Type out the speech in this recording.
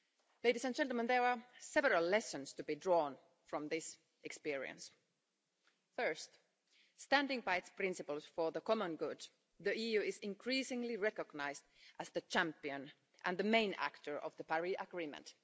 Ladies and gentlemen, there are several lessons to be drawn from this experience. First, standing by its principles for the common good, the EU is increasingly recognised as the champion and the main actor of the Paris Agreement.